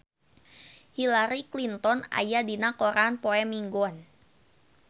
Hillary Clinton aya dina koran poe Minggon